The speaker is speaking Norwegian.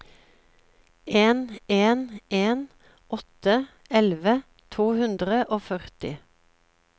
en en en åtte elleve to hundre og førti